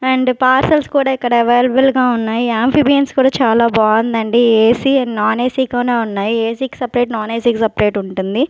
And parcels కూడా ఇక్కడ available గా ఉన్నాయి యాంఫిబియన్స్ కూడా చాలా బాగుందండి ఏ_సీ అండ్ నాన్ ఏ_సి గానే ఉన్నాయి ఏ_సీ కి సపరేట్ నాన్ ఏ_సి కి సపరేట్ ఉంటుంది.